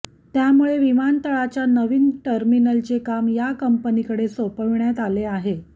त्यामुळे विमानतळाच्या नवीन टर्मिनलचे काम या कंपनीकडे सोपविण्यात आले आहे